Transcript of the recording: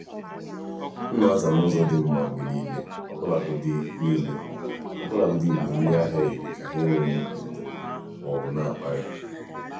m na-aza n’ụzọ dị mma mgbe niile ọbụlagodi niile ọbụlagodi mgbe ndị ahịa yiri ka ha enweghị ndidi ma ọ bụ na-akparị.